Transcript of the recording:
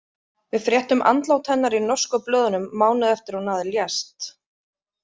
Við fréttum andlát hennar í norsku blöðunum mánuði eftir að hún lést.